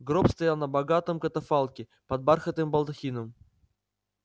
гроб стоял на богатом катафалке под бархатным балдахином